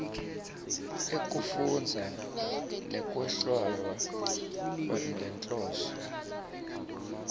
ekufundza nekwehlwaya ngenhloso